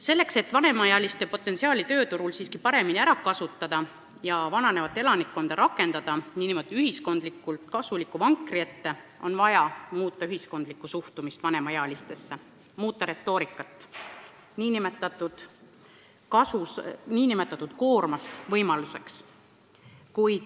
Selleks et seda potentsiaali tööturul siiski paremini ära kasutada ja rakendada kogu elanikkond ühiskonnale kasuliku vankri ette, on vaja muuta üldist suhtumist vanemaealistesse: koorma asemel tuleb neis näha võimalust.